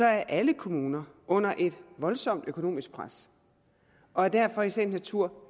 er alle kommuner under et voldsomt økonomisk pres og er derfor i sagens natur